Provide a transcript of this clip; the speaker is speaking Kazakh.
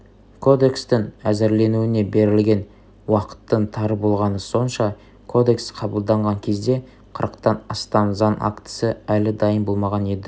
кодекстің әзірленуіне берілген уақыттың тар болғаны сонша кодекс қабылданған кезде қырықтан астам заң актісі әлі дайын болмаған еді